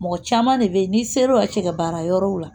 Mɔgɔ caman de bɛ yen n'i ser'o la cɛ ka baara yɔrɔw la